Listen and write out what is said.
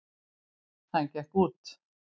Hann gekk út.